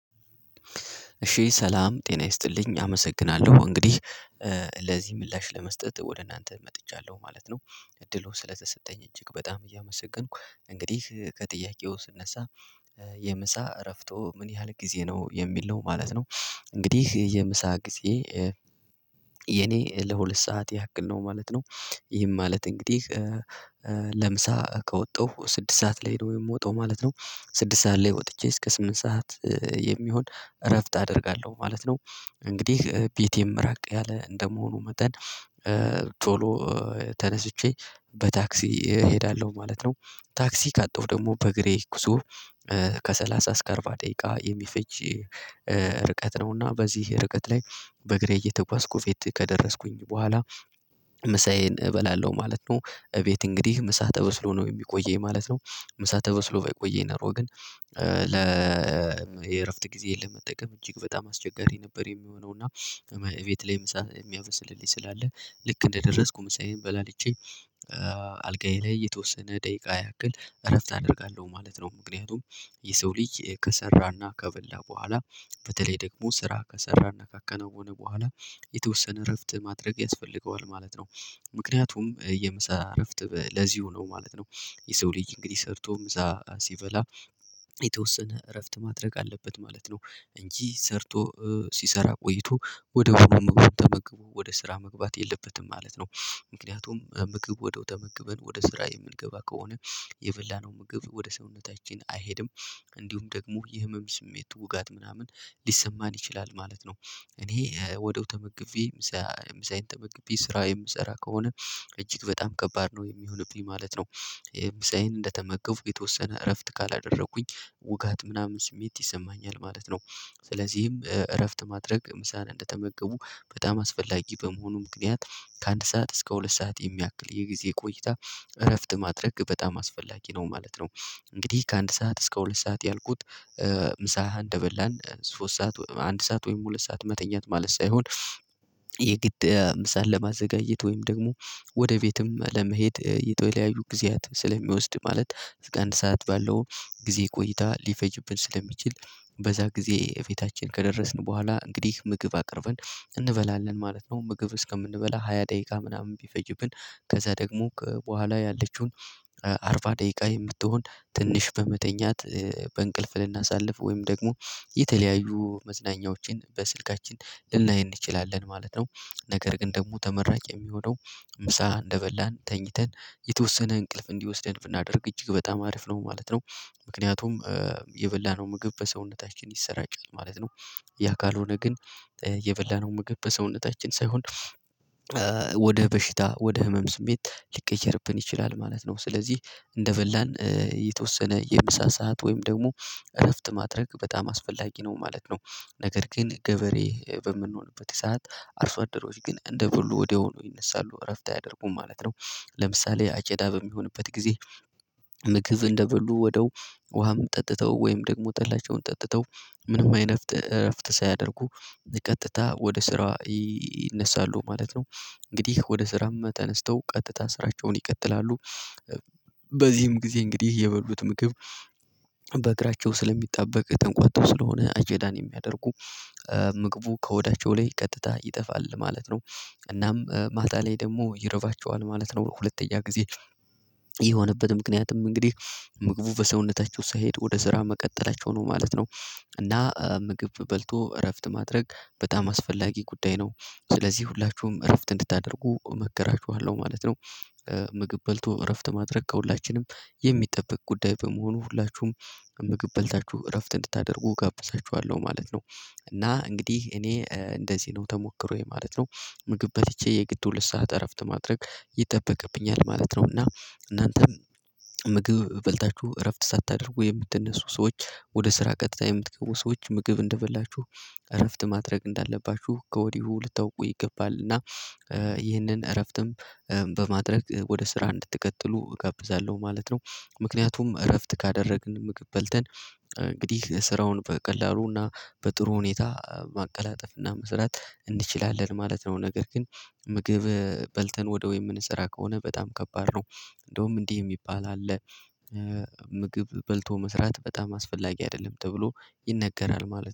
እሺ ሰላም ጤና ይስጥልኝ አመሰግናለሁ እንግዲህ ለዚህ ምላሽ ለመስጠት ወደ እናንተ መጥቻለሁ ማለት ነው። እድሉ ስለተሰጠኝ እጅግ በጣም እያመሰገንኩ እንግዲህ ከጥያቄው ስነሳ? የምሳ እረፍቶ ምን ያህል ጊዜ ነው የሚል ነው ማለት ነው። እንግዲህ የምሳ ጊዜ። ለሁለት ሰዓት ያክል ነው ማለት ነው። ይህም ማለት እንግዲህ ለምሳ ከወጣሁ ስድስት ሰዓት ላይ ነው የምወጣው ማለት ነው። ስድስት ሰዓት ላይ ወጥቼ እስከ ስምንት ሰዓት የሚሆን እረፍት አደርጋለሁ ማለት ነው። እንግዲህ ቤቴም ራቅ ያለ እንደመሆኑ መጠን ቶሎ ተነስቼ በታክሲ እሄዳለሁ ማለት ነው። ታክሲ ካጣሁ ደግሞ በእግሬ ጉዞ። እስከ አርባ ደቂቃ የሚፈጅ ርቀት ነውና በዚህ ርቀት ላይ በእግሬ እየተጓዝኩ ቤት ከደረስኩኝ በኋላ። ምሳዬን እበላለሁ ማለት ነው እቤት እንግዲህ ምሳ ተበስሎ ነው የሚቆየኝ ማለት ነው። ምሳ ተበስሎ ባይቆየኝ ነው ግን። ለ የእረፍት ጊዜ ለመጠቀም እጅግ በጣም አስቸጋሪ ነበር የሚሆነው እና። እቤት ላይ ምሳ የሚያበስልልኝ ስላለ ልክ እንደደረስኩ ምሳዬን በላልቼ። አልጋዬ ላይ የተወሰነ ደቂቃ ያክል እረፍት አደርጋለሁ ማለት ነው። ምክንያቱም የሰው ልጅ ከሰራና ከበላ በኋላ በተለይ ደግሞ ስራ ከሰራና ካከናወነ በኋላ የተወሰነ እረፍት ማድረግ ያስፈልገዋል ማለት ነው። ምክንያቱም የምሳ እረፍት ለዚሁ ነው ማለት ነው። የሰው ልጅ እንግዲህ ሰርቶም እዛ ሲበላ የተወሰነ እረፍት ማድረግ አለበት ማለት ነው። እንጂ ሰርቶ ሲሰራ ቆይቶ ወድያውኑ ምግቡን ተመግቦ ወደ ስራ መግባት የለበትም ማለት ነው። ምክንያቱም ምግብ ወድያው ተመግበን ወደ ስራ የምንገባ ከሆነ የበላነው ምግብ ወደ ሰውነታችን አይሄድም። እንዲሁም ደግሞ የህመም ስሜት ውጋት ምናምን ሊሰማን ይችላል ማለት ነው። እኔ ወድያው ተመግቤ ምሳ ምሳዬን ተመግቤ ስራ የምሰራ ከሆነ እጅግ በጣም ከባድ ነው የሚሆንብኝ ማለት ነው። ምሳዬን እንደተመገብኩ የተወሰነ እረፍት ካላደረኩኝ ውጋት ምናምን ስሜት ይሰማኛል ማለት ነው። ስለዚህም እረፍት ማድረግ ምሳን እንደተመገቡ በጣም አስፈላጊ በመሆኑ ምክንያት ከአንድ ሰዓት እስከ ሁለት ሰዓት የሚያክል የጊዜ ቆይታ እረፍት ማድረግ በጣም አስፈላጊ ነው ማለት ነው። እንግዲህ ከአንድ ሰዓት እስከ ሁለት ሰዓት ያልኩት ምሳ እንደበላን ሶስት ሰዓት አንድ ሰዓት ወይም ሁለት ሰዓት መተኛት ማለት ሳይሆን። ምሳ ለማዘጋጀት ወይም ደግሞ ወደ ቤትም ለመሄድ የተለያዩ ጊዜያት ስለሚወስድ ማለት አንድ ሰዓት ባለው ጊዜ ቆይታ ሊፈጅብን ስለሚችል። በዛ ጊዜ ቤታችን ከደረስን በኋላ እንግዲህ ምግብ አቅርበን እንበላለን ማለት ነው። ምግብ እስከምንበላ ሃያ ደቂቃ ምናምን ቢፈጅብን ከዛ ደግሞ በኋላ ያለችውን አርባ ደቂቃ የምትሆን ትንሽ በመተኛት በእንቅልፍ ልናሳልፍ ወይም ደግሞ የተለያዩ መዝናኛዎችን በስልካችን ልናይ እንችላለን ማለት። ነገር ግን ደግሞ ተመራጭ የሚሆነው ምሳ እንደበላን ተኝተን የተወሰነ እንቅልፍ እንዲወስደን ብናደርግ እጅግ በጣም አሪፍ ነው ማለት ነው። ምክንያቱም የበላነው ምግብ በሰውነታችን ይሰራጫል ማለት ነው። ያ ካልሆነ ግን የበላነው ምግብ በሰውነታችን ሳይሆን ወደ በሽታ ወደ ህመም ስሜት ሊቀየርብን ይችላል ማለት ነው። ስለዚህ እንደበላን የተወሰነ የምሳ ሰዓት ወይም ደግሞ እረፍት ማድረግ በጣም አስፈላጊ ነው ማለት ነው። ነገር ግን ገበሬ በምንሆንበት የሰዓት አርሶ አደሮች ግን እንደ ብሉ ወዲያው ነው ይነሳሉ እረፍት አያደርጉም ማለት ነው። ለምሳሌ አጨዳ በሚሆንበት ጊዜ። ምግብ እንደበሉ ወደው ውሃም ጠጥተው ወይም ደግሞ ጠላቸውን ጠጥተው ምንም አይነት እረፍት ሳይደረጉ ቀጥታ ወደ ስራ ይነሳሉ ማለት ነው። እንግዲህ ወደ ስራም ተነስተው ቀጥታ ስራቸውን ይቀጥላሉ። በዚህም ጊዜ እንግዲህ የበሉት ምግብ በእግራቸው ስለሚጣበቅ ተንቋቶ ስለሆነ አጨዳን የሚያደርጉ ምግቡ ከሆዳቸው ላይ ቀጥታ ይጠፋል ማለት ነው። እናም ማታ ላይ ደግሞ ይርባቸዋል ማለት ነው ሁለተኛ ጊዜ የሆነበት ምክንያትም እንግዲህ ምግቡ በሰውነታቸው ሳይሄድ ወደ ስራ መቀጠላቸው ነው ማለት ነው። እና ምግብ በልቶ እረፍት ማድረግ በጣም አስፈላጊ ጉዳይ ነው። ስለዚህ ሁላችሁም እረፍት እንድታደርጉ እመከራችኋለሁ ማለት ነው። ምግብ በልቶ እረፍት ማድረግ ከሁላችንም የሚጠበቅ ጉዳይ በመሆኑ ሁላችሁም ምግብ በልታችሁ እረፍት እንድታደርጉ እጋብዛችኋለሁ ማለት ነው። እና እንግዲህ እኔ እንደዚህ ነው ተሞክሮዬ ማለት ነው። ምግብ በልቼ የግድ ሁለት ሰዓት እረፍት ማድረግ ይጠበቅብኛል ማለት ነው። እና እናንተም በልታችሁ እረፍት ሳታደርጉ የምትነሱ ሰዎች ወደ ስራ ቀጥታ የምትገቡ ሰዎች ምግብ እንደበላችሁ እረፍት ማድረግ እንዳለባችሁ ከወዲሁ ልታውቁ ይገባል። እና ይህንን እረፍትም በማድረግ ወደ ስራ እንድትቀጥሉ እጋብዛለሁ ማለት ነው። ምክንያቱም እረፍት ካደረግን ምግብ በልተን እንግዲህ ስራውን በቀላሉና በጥሩ ሁኔታ ማቀላጠፍና መስራት እንችላለን ማለት ነው። ነገር ግን ምግብ በልተን ወድያው የምንሰራ ከሆነ በጣም ከባድ ነው። እንደውም እንዲህ የሚባል አለ። ምግብ በልቶ መስራት በጣም አስፈላጊ አይደለም ተብሎ ይነገራል ማለት ነው